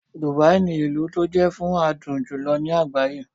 Dubai ní ilú tó jé fún adùn jùlọ ní àgbáyé.